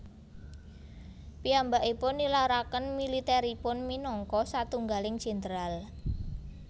Piyambakipun nilaraken militeripun minangka satunggaling jenderal